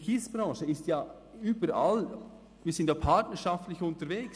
Die Kiesbranche ist ja überall, und wir sind partnerschaftlich unterwegs.